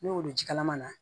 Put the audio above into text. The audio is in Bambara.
Ne y'olu jikalama na